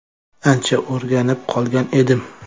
Ancha o‘rganib qolgan edim.